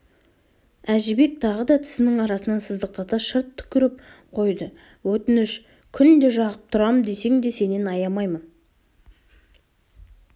әжібек тағы да тісінің арасынан сыздықтата шырт түкіріп қойды өтініш күнде жағып тұрам десең де сенен аямаймын